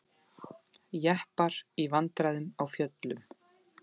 Jeppar í vandræðum á fjöllum